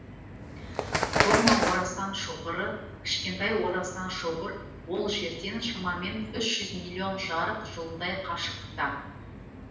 кома орасан шоғыры кішкентай орасан шоғыр ол жерден шамамен үш жүз миллион жарық жылындай қашықтықта